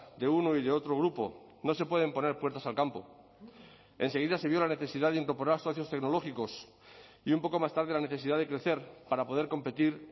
de uno y de otro grupo no se pueden poner puertas al campo en seguida se vio la necesidad de incorporar socios tecnológicos y un poco más tarde la necesidad de crecer para poder competir